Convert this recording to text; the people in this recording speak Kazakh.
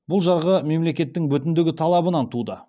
бұл жарғы мемлекеттің бүтіндігі талабынан туды